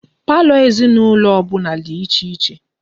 Palọ ezinaulo obula di iche iche